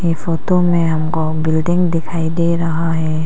ये फोटो में हमको बिल्डिंग दिखाई दे रहा है।